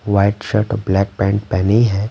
White shirt और black pant पहनी हैं।